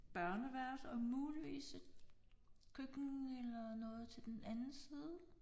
Børneværelse og muligvis et køkken eller noget til den anden side